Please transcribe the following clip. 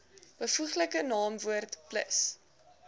byvoeglike naamwoord plus